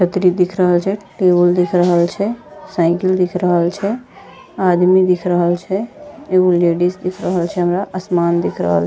छतरी दिख रहल छय टेबुल दिख रहल छे साइकिल दिख रहल छय एगो लेडिस दिख रहल छे हमरा आसमान दिख रहल --